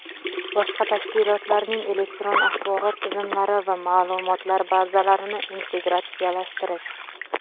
boshqa tashkilotlarning elektron axborot tizimlari va maʼlumotlar bazalarini integratsiyalashtirish;.